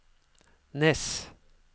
Nes